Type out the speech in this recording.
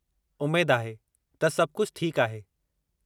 उमेद आहे त सभु कुझु ठीकु आहे।